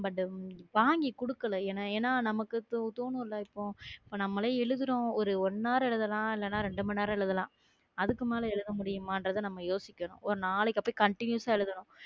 but ம் வாங்கி குடுக்கலை ஏன்னா ஏன்னா நமக்கு இப்ப தோணும்ல இப்போ நம்மலே எழுதுறோம் ஒரு one hour எழுதலாம் இல்லன்னா ரெண்டு மணி நேரம் எழுதலாம். அதுக்கு மேல எழுத முடியுமான்றதை நம்ம யோசிக்கணும் ஒரு நாளைக்கு அப்படியே continuous ஆ எழுதணும்